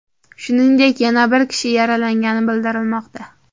Shuningdek, yana bir kishi yaralangani bildirilmoqda.